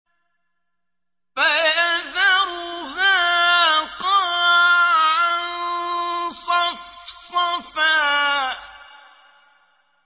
فَيَذَرُهَا قَاعًا صَفْصَفًا